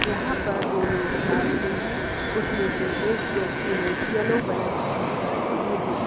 यहां पर दो लोग जा रहें हैं उसमें से एक व्यक्ति ने येलो कलर की टी शर्ट पेहनी हुई--